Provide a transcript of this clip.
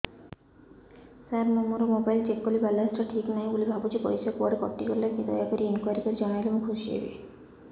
ସାର ମୁଁ ମୋର mobile check କଲି ବାଲାନ୍ସ ଟା ଠିକ ନାହିଁ ବୋଲି ଭାବୁଛି ପଇସା କୁଆଡେ କଟି ଗଲା କି ଦୟାକରି ଇନକ୍ୱାରି କରି ଜଣାଇଲେ ମୁଁ ଖୁସି ହେବି